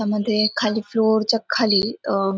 त्याच्यामध्ये खाली फ्लोर च्या खाली अं--